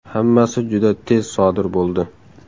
Hammasi juda tez sodir bo‘ldi.